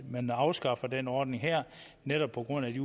man afskaffer den ordning her netop på grund af de